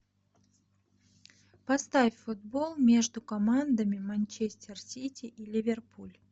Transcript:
поставь футбол между командами манчестер сити и ливерпуль